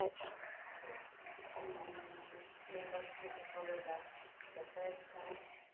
Seis, e o negócio que você falou da festa.